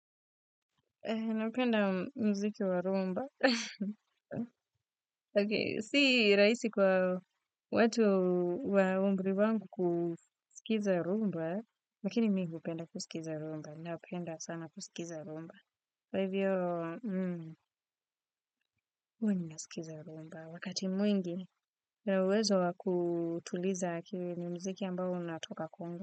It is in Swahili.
Napenda muziki wa rumba. Si rahisi kwa watu wa umri wangu kusikiza rumba, lakini mi hupenda kusikiza rumba. Napenda sana kusikiza rumba. Kwa hiviyo, huwa ninasikiza rumba. Wakati mwingi, una uwezo wa kutuliza akili, ni muziki ambao unatoka Congo.